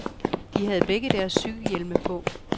De havde begge deres cykelhjelme på.